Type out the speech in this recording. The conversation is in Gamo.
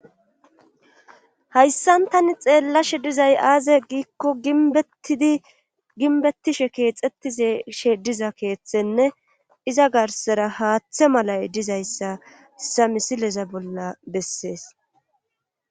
Hayssan tani xeellashe dizay aaze giikko ginbettishe keexettizshe diza keeththenne iza garsera haaththe malay dizayssa sa misileza bolla bessees.